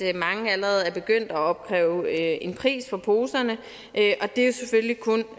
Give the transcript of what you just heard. at mange allerede er begyndt at opkræve en pris for poserne det er selvfølgelig kun